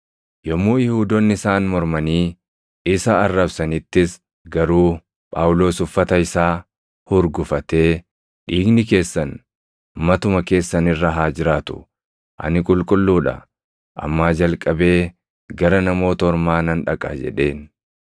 Yommuu Yihuudoonni isaan mormanii isa arrabsanittis garuu Phaawulos uffata isaa hurgufatee, “Dhiigni keessan matuma keessan irra haa jiraatu! Ani qulqulluu dha; ammaa jalqabee gara Namoota Ormaa nan dhaqa” jedheen.